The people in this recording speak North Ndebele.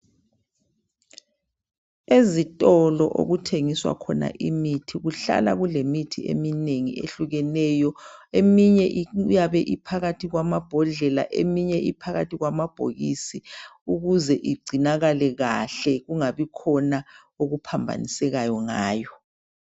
Ezitolo okuthengiswa khona imithi kuhlala kulemithi eminengi ehlukeneyo eminye iyabe iphakathi kwamambodlela eminye iphakathi kwamabhokisi ukuze igcinakale kahle kungabikhona okuphambanisekayo ngayo.